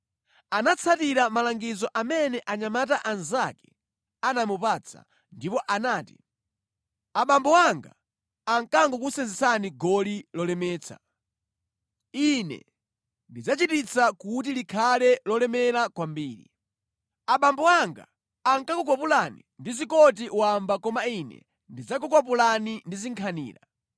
Anatsatira malangizo amene anyamata anzake anamupatsa ndipo anati “Abambo anga ankakusenzetsani goli lolemetsa. Ine ndidzachititsa kuti likhale lolemera kwambiri. Abambo anga ankakukwapulani ndi zikoti wamba koma ine ndidzakukwapulani ndi zinkhanira.”